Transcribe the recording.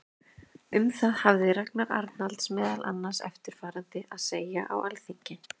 Um það hafði Ragnar Arnalds meðal annars eftirfarandi að segja á Alþingi